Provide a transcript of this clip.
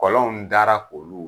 Kɔlɔnw dara k' olu.